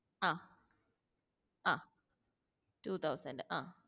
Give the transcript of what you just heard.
ആഹ് ആഹ് two thousand അഹ്